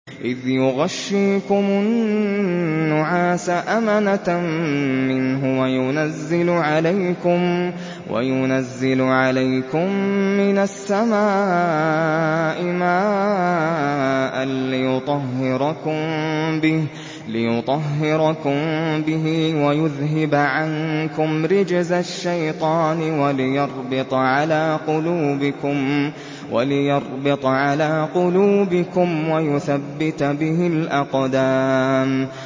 إِذْ يُغَشِّيكُمُ النُّعَاسَ أَمَنَةً مِّنْهُ وَيُنَزِّلُ عَلَيْكُم مِّنَ السَّمَاءِ مَاءً لِّيُطَهِّرَكُم بِهِ وَيُذْهِبَ عَنكُمْ رِجْزَ الشَّيْطَانِ وَلِيَرْبِطَ عَلَىٰ قُلُوبِكُمْ وَيُثَبِّتَ بِهِ الْأَقْدَامَ